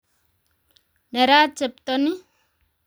Nerat chepto ni